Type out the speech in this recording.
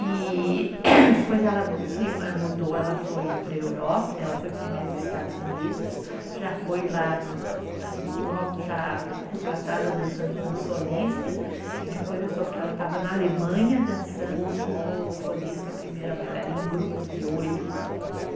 E depois ela se mudou, ela foi para a Europa, ela foi primeiro para os Estados Unidos, já foi lá, assim, logo já contratada dançando como solista e depois eu soube que ela estava na Alemanha dançando como solista, primeira bailarina em grupos de oito, assim.